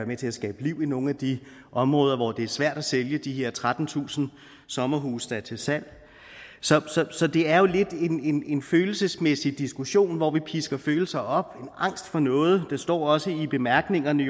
med til at skabe liv i nogle af de områder hvor det er svært at sælge de her trettentusind sommerhuse der er til salg så så det er jo lidt en en følelsesmæssig diskussion hvor vi pisker følelser op og har angst for noget der står også i bemærkningerne